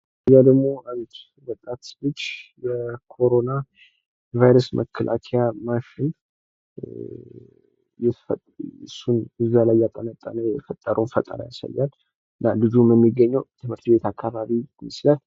ምስሉ ላይ የምንመለከተው የኮሮና ቫይረስ መከላከያ መሳሪያ የሰራ ልጅ ንው። ልጁም የሚገኘው ትምህርት ቤት አካባቢ ነው ።